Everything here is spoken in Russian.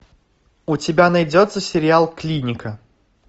у тебя найдется сериал клиника